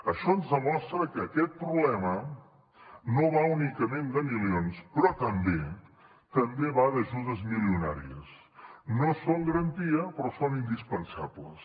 això ens demostra que aquest problema no va únicament de milions però també va d’ajudes milionàries no són garantia però són indispensables